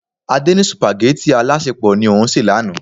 Adé ní supageti alasepo ni òun se lánàá.